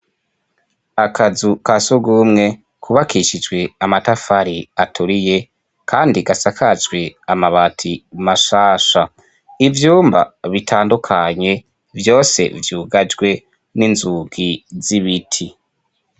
Akazu ka sugumwe kubakishijwe amatafari aturiye kandi gasakajwe amabati mashasha. Ivyumbaa bitndukanye vyose vyugajwe n'inzugi z'ibiti.